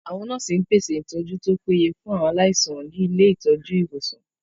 Àwọn nọ́ọ̀sì ń pèsè ìtọ́jú tó péye fún aláìsàn ní ilé ìtọ́jú/ ìwòsàn